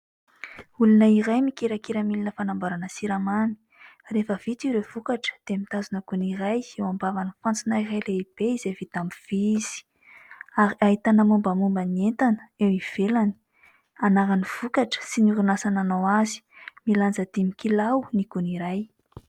Olona iray mikirakira milona fanamboarana siramamy. Rehefa vita ireo vokatra, dia mitazona gony iray eo ambavan'ny fantsona iray lehibe izay vita amin' ny vy izy ary ahitana mombamomba ny entana eo ivelany : anaran'ny vokatra sy ny orinasa nanao azy. Milanja dimy kilao ny gony iray.